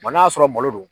n'a sɔrɔ malo